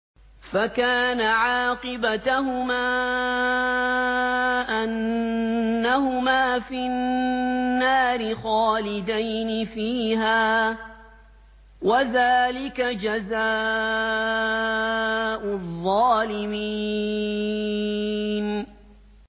فَكَانَ عَاقِبَتَهُمَا أَنَّهُمَا فِي النَّارِ خَالِدَيْنِ فِيهَا ۚ وَذَٰلِكَ جَزَاءُ الظَّالِمِينَ